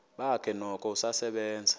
bakhe noko usasebenza